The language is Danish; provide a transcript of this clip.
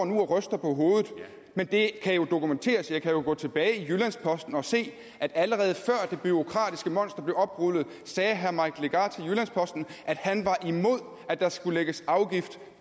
nu og ryster på hovedet men det kan jo dokumenteres jeg kan jo gå tilbage i jyllands posten og se at allerede før det bureaukratiske monster blev oprullet sagde herre mike legarth til jyllands posten at han var imod at der skulle lægges afgift